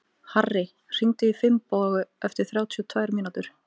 Harri, hringdu í Finnborgu eftir þrjátíu og tvær mínútur.